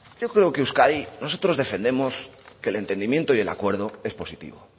yo creo que euskadi nosotros defendemos que el entendimiento y el acuerdo es positivo